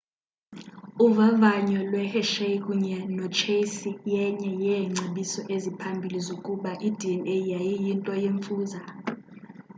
uvavanyo lwehershey kunye nochase yenye yeengcebiso eziphambili zokuba idna yayiyinto yemfuza